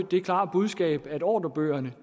det klare budskab at ordrebøgerne